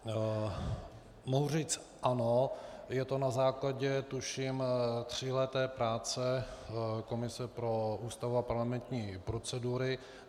Mohu říct ano, je to na základě, tuším, tříleté práce komise pro Ústavu a parlamentní procedury.